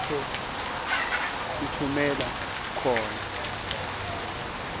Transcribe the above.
lapho utfumela khona